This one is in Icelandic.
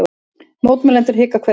Mótmælendur hvika hvergi